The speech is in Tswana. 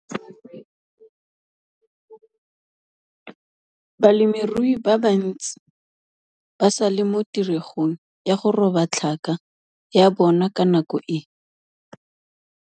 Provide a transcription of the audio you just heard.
Balemirui ba bantsi ba sa le mo tiregong ya go roba tlhaka ya bona ka nako e.